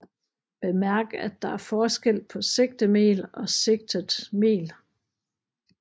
Bemærk at der er forskel på sigtemel og sigtet mel